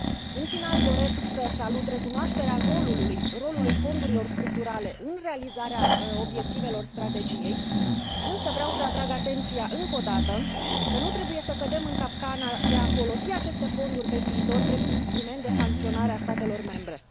În final, doresc să salut recunoașterea rolului fondurilor structurale în realizarea obiectivelor strategiei, însă vreau să atrag atenția încă o dată că nu trebuie să cădem în capcana de a folosi aceste fonduri pe viitor drept instrument de sancționare a statelor membre.